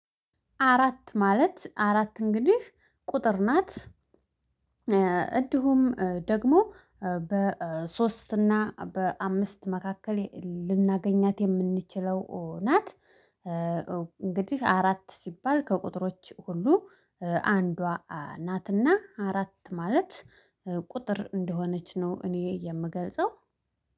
አራት ማለት አራት እንግዲህ ቁጥር ናት። እንዲሁም ደግሞ በሶስት እና በአምስት መካከል ልናገኛት የምንችለው ናት። እንግዲህ አራት ሲባል ከቁጥሮች ሁሉ አንዷ ናትና አራት ማለት ቁጥር እንደሆነች ነው። እኔ የምገልጸው